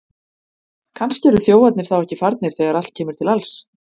Kannski eru þjófarnir þá ekki farnir þegar allt kemur til alls!